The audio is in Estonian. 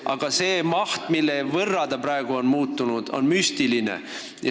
Aga see suurusjärk, mille võrra see praegu muutus, on müstiline.